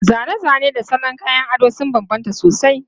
Zane-zane da salon kayan ado sun bambanta sosai.